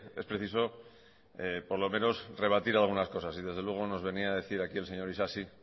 es preciso por lo menos rebatir algunas cosas y desde luego nos venía a decir aquí el señor isasi